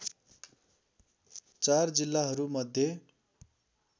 ४ जिल्लाहरू मध्ये